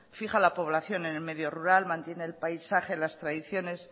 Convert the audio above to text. fija la población en el medio rural mantiene el paisaje las tradiciones